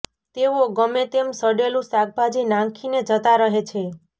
તેઓ ગમે તેમ સડેલુ શાકભાજી નાંખીને જતા રહે છે